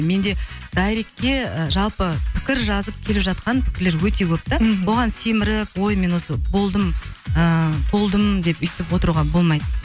менде дайректке ы жалпы пікір жазып келіп жатқан пікірлер өте көп те мхм оған семіріп ой мен осы болдым ыыы толдым деп өстіп отыруға болмайды